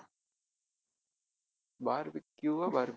barbeque ஆ barbe~